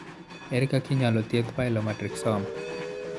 Ere kaka inyalo thiedh pilomatrixoma?